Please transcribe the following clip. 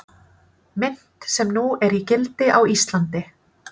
Mynt sem nú er í gildi á Íslandi.